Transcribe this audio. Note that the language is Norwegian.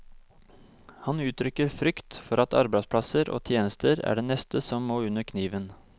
Han uttrykker frykt for at arbeidsplasser og tjenester er det neste som må under kniven.